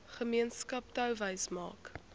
gemeenskap touwys maak